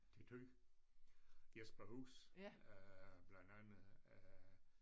Til Thy Jesperhus øh blandt andet øh